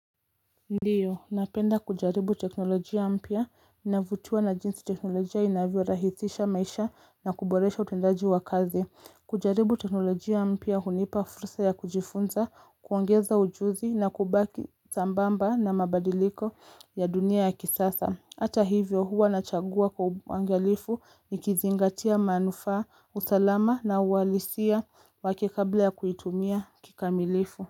Ndiyo. Ninapenda kujaribu teknolojia mpya. Mimi ninavutiwa na jinsi teknolojia inavyo rahisisha maisha na kuboresha utendaji wa kazi. Kujaribu teknolojia mpya hunipa fursa ya kujifunza, kuongeza ujuzi na kubaki sambamba na mabadiliko ya dunia ya kisasa. Hata hivyo huwa na chagua kwa uangalifu ni kizingatia manufaa, usalama na uhalisia wake kabla ya kuitumia kikamilifu.